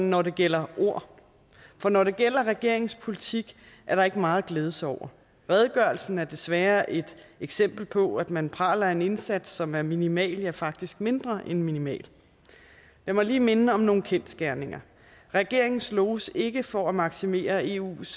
når det gælder ord for når det gælder regeringens politik er der ikke meget at glæde sig over redegørelsen er desværre et eksempel på at man praler af en indsats som er minimal ja faktisk mindre end minimal jeg må lige minde om nogle kendsgerninger regeringen sloges ikke for at maksimere eus